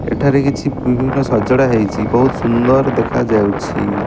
ଏଠାରେ କିଛି ବିଭିନ୍ନ ସଜଡ଼ା ହେଇଚି। ବୋହୁତ୍ ସୁନ୍ଦର ଦେଖାଯାଉଛି।